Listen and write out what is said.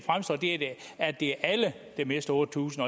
at det er alle der mister otte tusind